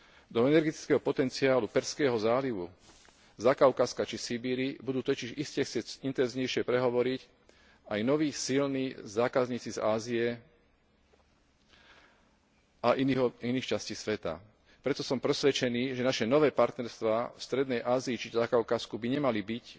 Do energetického potenciálu Perzského zálivu, Zakaukazska, či Sibíri budú totiž iste chcieť intenzívnejšie prehovoriť aj noví, silní zákazníci z Ázie a iných častí sveta. Preto som presvedčený, že naše nové partnerstvá v strednej Ázii či Zakaukazsku by nemali byť